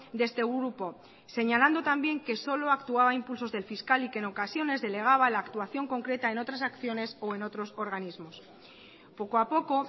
de este grupo señalando también que solo actuaba a impulsos del fiscal y que en ocasiones delegaba la actuación concreta en otras acciones o en otros organismos poco a poco